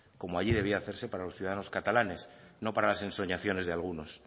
como allí debía hacerse para los ciudadanos catalanes no para las ensoñaciones de algunos